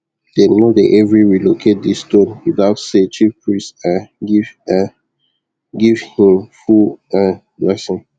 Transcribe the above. them no dey every relocate the stone without say chief priest um give um give hin full um blessing